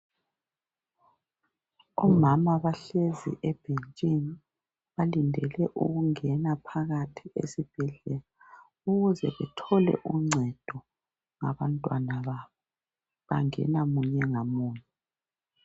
Omama bahlezi ebhentshini balindele ukungena phakathi esibhedlela ukuze bathole uncedo labantwana babo bangena munye ngamunye.